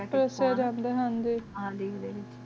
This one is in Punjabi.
ਵਿਆਰ੍ਸਾਦ ਦਾ ਦੇਂਦੇ ਹਨ ਜੀ